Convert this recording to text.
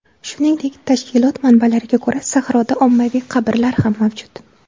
Shuningdek, tashkilot manbalariga ko‘ra, sahroda ommaviy qabrlar ham mavjud.